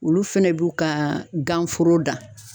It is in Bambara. Olu fɛnɛ b'u ka gan foro dan.